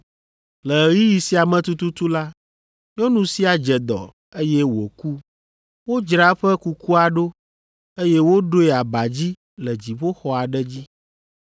Le ɣeyiɣi sia me tututu la, nyɔnu sia dze dɔ, eye wòku. Wodzra eƒe kukua ɖo, eye woɖoe aba dzi le dziƒoxɔ aɖe dzi.